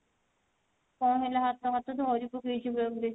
କଣ ହେଲା ହାତ ଫାତ ଧରି ପକେଇଛି ପୁରା ପୁରି